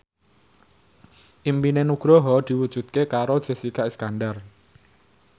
impine Nugroho diwujudke karo Jessica Iskandar